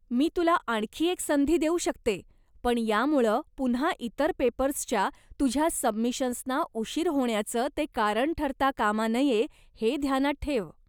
मी तुला आणखी एक संधी देऊ शकते, पण यामुळं पुन्हा इतर पेपर्सच्या तुझ्या सबमिशन्सना उशीर होण्याचं ते कारण ठरता कामा नये हे ध्यानात ठेव.